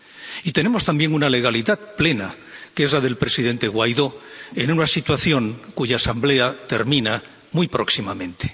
Y tenemos también una legalidad plena, que es la del presidente Guaidó, en una situación cuya Asamblea termina muy próximamente.